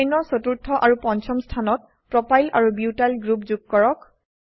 চেইনৰ চতুৰ্থ আৰু পঞ্চম স্থানত প্ৰপাইল প্ৰোপাইল আৰু বিউটাইল বিউটাইল গ্ৰুপ যোগ কৰক